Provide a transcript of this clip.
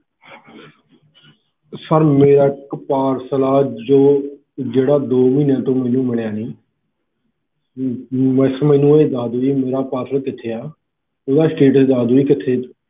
sir ਮੇਰਾ ਇੱਕ parcel ਆ ਜਿਹੜਾ ਦੋ ਮਹੀਨੇ ਤੋਂ ਮੈਨੂੰ ਮਿਲਿਆ ਨੀ ਮੈਨੂੰ ਬਸ ਇਹ ਦਸ ਦੋ ਕਿ ਮੇਰਾ ਜਿਹੜਾ parcel ਆ ਉਹ ਕਿਥੇ ਆ ਓਹਦਾ status ਦੱਸ ਦੋ ਜੀ ਕਿਥੇ